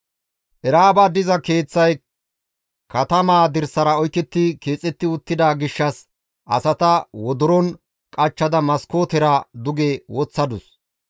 Era7aaba diza keeththay katamaa dirsaara oyketti keexetti uttida gishshas asata wodoron qachchada maskootera duge woththadus.